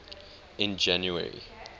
in january